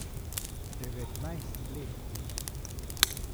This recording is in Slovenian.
Devetnajst let ima.